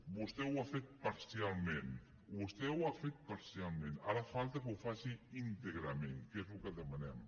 vostè ho ha fet parcialment vostè ho ha fet parcialment ara falta que ho faci íntegrament que és el que demanem